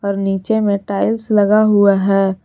नीचे में टाइल्स लगा हुआ है।